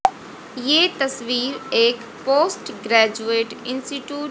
ये तस्वीर एक पोस्टग्रेजुएट इंस्टीट्यूट --